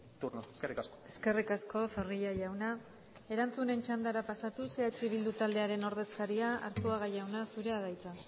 turno eskerrik asko eskerrik asko zorrilla jauna erantzunen txandara pasatuz eh bildu taldearen ordezkaria arzuaga jauna zurea da hitza